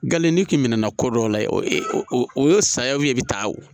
Galen ni kɛnɛna ko dɔ la ye o y'o saya ye i bɛ taa o